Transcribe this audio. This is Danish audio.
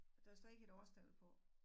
Der står ikke et årstal på